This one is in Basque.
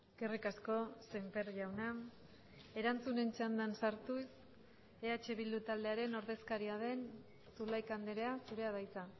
eskerrik asko semper jauna erantzunen txandan sartuz eh bildu taldearen ordezkaria den zulaika andrea zurea da hitza